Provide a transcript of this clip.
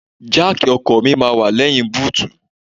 Jáàkì ọkọ̀ mi máa wà lẹ́yìn búùtù.